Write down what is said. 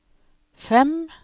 fem